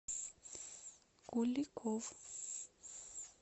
куликов